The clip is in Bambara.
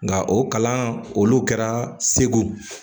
Nka o kalan olu kɛra segu